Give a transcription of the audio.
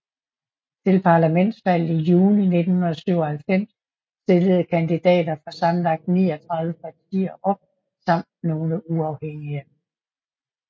Til parlamentsvalget i juni 1997 stillede kandidater fra sammenlagt 39 partier op samt nogle uafhængige